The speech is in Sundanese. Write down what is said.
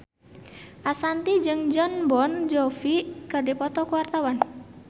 Ashanti jeung Jon Bon Jovi keur dipoto ku wartawan